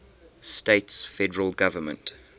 states federal government